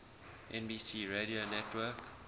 nbc radio network